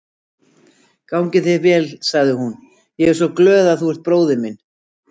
Gangi þér vel, sagði hún, ég er svo glöð að þú ert bróðir minn.